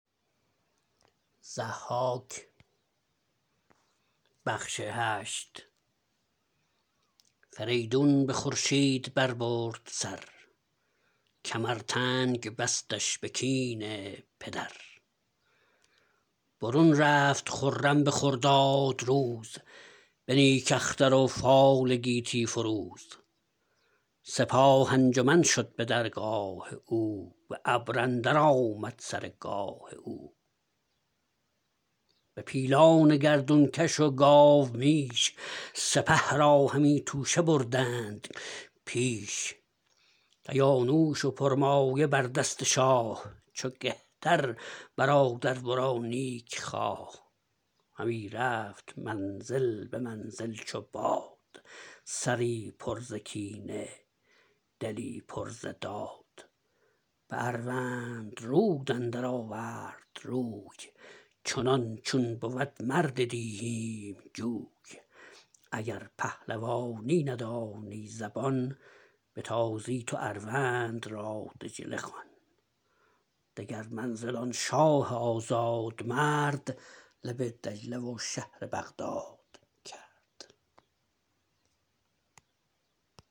فریدون به خورشید بر برد سر کمر تنگ بستش به کین پدر برون رفت خرم به خرداد روز به نیک اختر و فال گیتی فروز سپاه انجمن شد به درگاه او به ابر اندر آمد سر گاه او به پیلان گردون کش و گاومیش سپه را همی توشه بردند پیش کیانوش و پرمایه بر دست شاه چو کهتر برادر ورا نیک خواه همی رفت منزل به منزل چو باد سری پر ز کینه دلی پر ز داد به اروندرود اندر آورد روی چنان چون بود مرد دیهیم جوی اگر پهلوانی ندانی زبان به تازی تو اروند را دجله خوان دگر منزل آن شاه آزادمرد لب دجله و شهر بغداد کرد